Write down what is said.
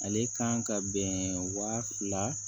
Ale kan ka bɛn wa fila